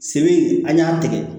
Sen an y'a tigɛ